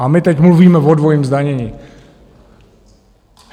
A my teď mluvíme o dvojím zdanění.